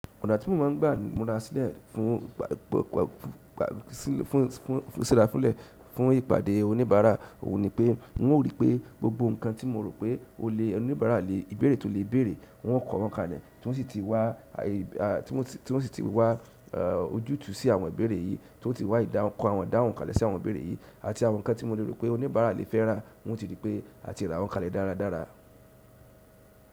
Ọ̀nà tí mo máa ń gbà mọ́ra sílẹ̀ fún, fún, fún síra sílẹ̀ fún ìpàdé oníbàárà òun ni pé hùn o rí pé gbogbo nǹkan tí mo rò pé olè oníbàárà le, ìbéèrè tí ó lè béèrè hùn o kọ wọ́n kalẹ̀ tí wọ́n sì ti wá, àì, àì tí wọ́n sì ti wá ọ jútùú sí àwọn ìbéèrè yìí tí wọ́n ti wá ìdáhun, kọ àwọn ìdáhùn kalẹ̀ sí àwọn ìbéèrè yìí àti àwọn nǹkan tí molè rò pé oníbàárà le fẹ́ rà hùn o ti rí pé à ti rà wọ́n kalẹ̀ dáradára.